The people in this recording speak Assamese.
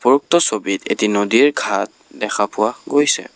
উক্ত ছবিত এটি নদীৰ ঘাট দেখা পোৱা গৈছে।